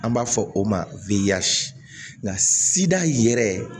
An b'a fɔ o ma nka sidiya yɛrɛ